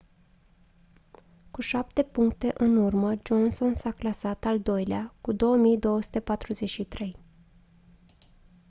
cu șapte puncte în urmă johnson s-a clasat al doilea cu 2243